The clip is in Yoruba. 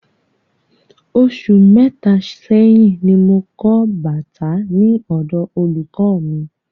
Osù mẹta sẹ́yín ní mo kọ bàtà ní ọ̀dọ olùkọ mí